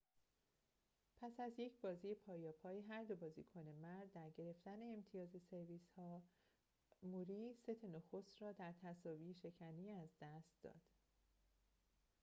پس از یک بازی پایاپای هر دو بازیکن مرد در گرفتن امتیاز سرویس‌ها موری ست نخست را در تساوی‌شکنی از دست داد